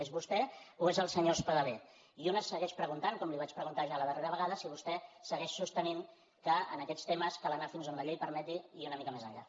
és vostè o és el senyor espadaler i un es segueix preguntant com li vaig preguntar ja la darrera vegada si vostè segueix sostenint que en aquests temes cal anar fins on la llei permeti i una mica més enllà